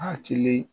Hakili